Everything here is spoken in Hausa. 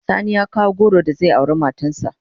Sani ya kawo goro da zai aure matan sa.